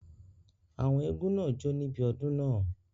Àwọn eégún náà jó níbi odun náà